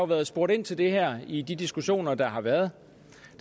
været spurgt ind til det her i de diskussioner der har været